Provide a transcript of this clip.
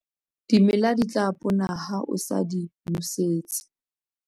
Dimela di tla pona ha o sa di nosetse.